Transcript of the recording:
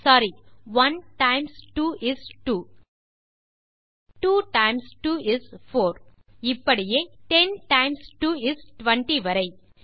sorry 1 times 2 is 2 2 times 2 is 4 இப்படியே 10 times 2 is 20 வரை